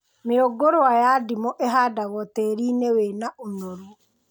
Mĩũngũrwa ya ndimũ ĩhandagwo tĩĩri-inĩ wĩna ũnoru